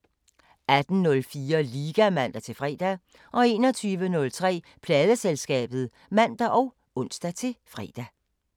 18:04: Liga (man-fre) 21:03: Pladeselskabet (man og ons-fre)